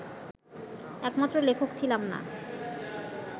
একমাত্র লেখক ছিলাম না